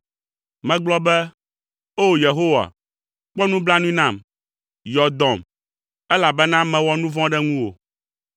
Megblɔ be, “O! Yehowa, kpɔ nublanui nam, yɔ dɔm, elabena mewɔ nu vɔ̃ ɖe ŋuwò.”